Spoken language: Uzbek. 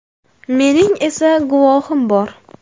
Mening esa guvohim bor.